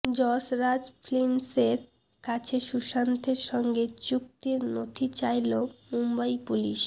যশ রাজ ফিল্মসের কাছে সুশান্তের সঙ্গে চুক্তির নথি চাইল মুম্বই পুলিশ